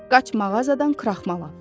Qaç, mağazadan kraxmal al.